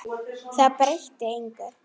Það breytti engu.